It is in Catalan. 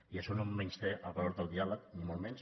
i això no menysté el valor del diàleg ni molt menys